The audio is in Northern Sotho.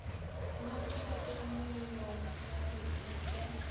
mo ke tlemollo ya lehuto